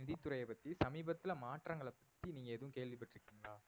நிதித்துறை பத்தி சமீபத்தில மாற்றங்களை பத்தி நீங்க எதுவும் கேள்விப்பட்டு இருக்கீங்களா?